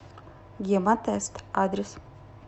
гемотест адрес